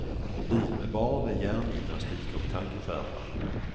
Liv med barn är hjärngymnastik och tankeskärpa.